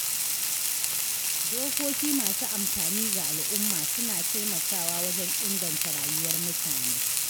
Dokoki masu amfani ga al’umma, suna taimakawa wajen inganta rayuwar mutane.